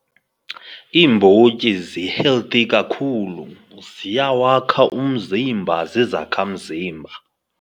Iimbotyi zi-healthy kakhulu, ziyawakha umzimba, zizakhamzimba.